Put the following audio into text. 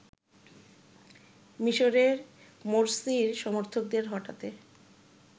মিশরে মোরসির সমর্থকদের হটাতে